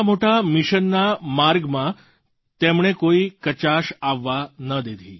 આટલા મોટા મિશનના માર્ગમાં તેમણે કોઈ કચાશ આવવા ન દીધી